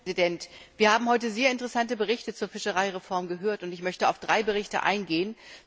Herr Präsident! Wir haben heute sehr interessante Berichte zur Fischereireform gehört und ich möchte auf drei Berichte eingehen.